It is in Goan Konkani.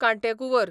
कांटेकुंवर